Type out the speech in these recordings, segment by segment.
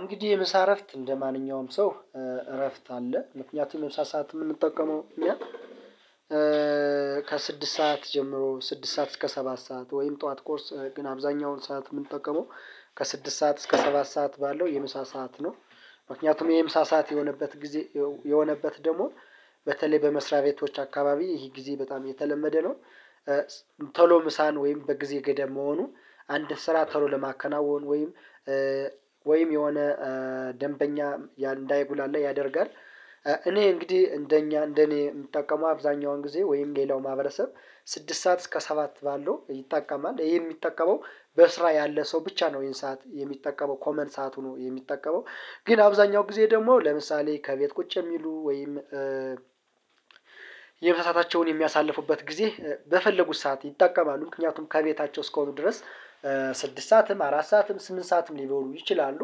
እንግዲህ የምሳ እረፍት እንደማንኛውም ሰው እረፍት አለ ምክንያቱም የምሳ ሰዓት የምንጠቀመው እኛ ከስድስት ሰዓት ጀምሮ ስድስት ሰዓት እስከ ሰባት ሰዓት ወይም ጠዋት ቁርስ ግን አብዛኛውን ሰዓት የምንጠቀመው ከስድስት ሰዓት እስከ ሰባት ሰዓት ባለው የምሳ ሰዓት ነው። ምክንያቱም የምሳ ሰዓት የሆነበት ጊዜ የሆነበት ደግሞ በተለይ በመስሪያ ቤቶች አካባቢ ይህ ጊዜ በጣም የተለመደ ነው። ቶሎ ምሳን ወይም በጊዜ ገደብ መሆኑ አንድ ስራ ቶሎ ለማከናወን ወይም ወይም የሆነ ደንበኛ እንዳይጉላላ ያደርጋል። እኔ እንግዲህ እንደኛ እንደኔ የምጠቀመው አብዛኛውን ጊዜ ወይም ሌላው ማህበረሰብ ስድስት ሰዓት እስከ ሰባት ባለው ይጠቀማል ይሄ የሚጠቀመው በስራ ያለ ሰው ብቻ ነው። ይሄን ሰዓት የሚጠቀመው ኮመን ሰዓቱ ነው የሚጠቀመው። ግን አብዛኛው ጊዜ ደግሞ ለምሳሌ ከቤት ቁጭ የሚሉ ወይም የምሳ ሰአታቸውን የሚያሳልፉበት ጊዜ በፈለጉት ሰዓት ይጠቀማሉ ምክንያቱም ከቤታቸው እስከሆኑ ድረስ ስድስት ሰዓትም አራት ሰዓትም ስምንት ሰዓትም ሊበሉ ይችላሉ።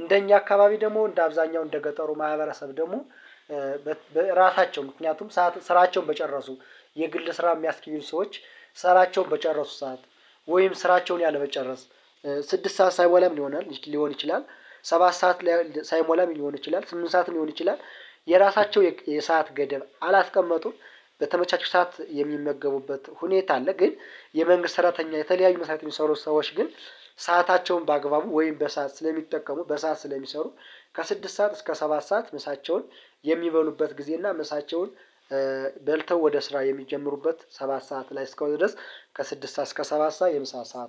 እንደኛ አካባቢ ደግሞ እንደ አብዛኛው እንደ ገጠሩ ማህበረሰብ ደግሞ በራሳቸው ምክንያቱም ስራቸውን በጨረሱ የግል ስራ የሚያስኬዱ ሰዎች ስራቸውን በጨረሱ ሰዓት። ወይም ስራቸውን ያለመጨረስ ስድስት ሰዓት ሳይሞላም ሊሆን ይችላል ሊሆን ይችላል ሰባት ሰዓት ሳይሞላም ሊሆን ይችላል ስምንት ሰዓት ሊሆን ይችላል። የራሳቸው የሰዓት ገደብ አላስቀመጡም በተመቻቸው ሰዓት የሚመገቡበት ሁኔታ አለ። ግን የመንግስት ሰራተኛ የተለያዩ መስሪያ ቤት የሚሰሩት ሰዎች ግን ሰአታቸውን በአግባቡ ወይም በሰአት ስለሚጠቀሙ በሰአት ስለሚሰሩ ከስድስት ሰዓት እስከ ሰባት ሰዓት ምሳቸውን የሚበሉበት ጊዜ እና ምሳቸውን በልተው ወደ ስራ የሚጀምሩበት ሰባት ሰዓት ላይ እስከሆነ ድረስ። ከስድስት ሰዓት እስከ ሰባት ሰዓት የምሳ ሰዓት